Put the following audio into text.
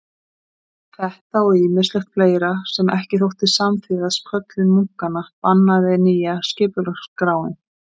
Þetta og ýmislegt fleira sem ekki þótti samþýðast köllun munkanna bannaði nýja skipulagsskráin.